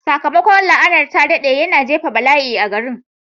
Sakamakon la'anar ya daɗe, yana jefa bala'i a garin.